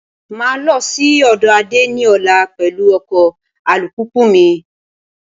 Máa lọ sí ọ̀dọ̀ Ade ní ọ̀la pẹ̀lú ọkọ alùpùpù mi